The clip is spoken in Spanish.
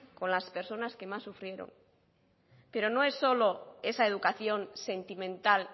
con las personas que más sufrieron pero no es solo esa educación sentimental